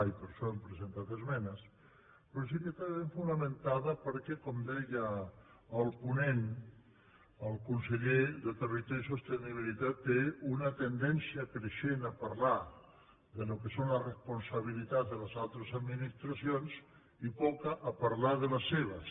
i per això hem presentat esmenes però sí que està ben fonamentada perquè com deia el ponent el conseller de territori i sostenibilitat té una tendència creixent a parlar del que són les responsabilitats de les altres administracions i poca a parlar de les seves